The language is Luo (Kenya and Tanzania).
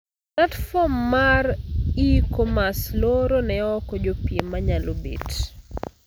Platform mar e-commerce looro ne ooko jopiem manyalo bet.